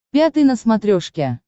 пятый на смотрешке